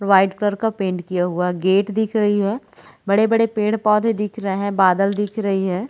White colour का paint किया हुआ गेट दिख रही है बड़े-बड़े पेड़- पौधे दिख रहे है बादल दिख रही है।